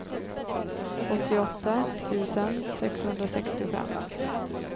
åttioåtta tusen sexhundrasextiofem